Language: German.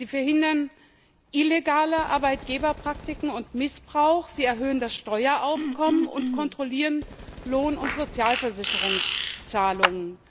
Sie verhindern illegale Arbeitgeberpraktiken und Missbrauch, sie erhöhen das Steueraufkommen und kontrollieren Lohn und Sozialversicherungszahlungen.